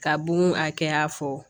Ka bun akɛya fɔ